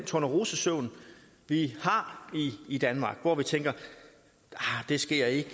tornerosesøvn i danmark hvor vi tænker det sker ikke